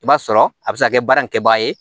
I b'a sɔrɔ a bɛ se ka kɛ baara in kɛbaga ye